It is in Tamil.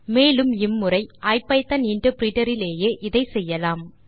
மேலும் இம்முறை ஐபிதான் இன்டர்பிரிட்டர் இலேயே இதை செய்யலாம்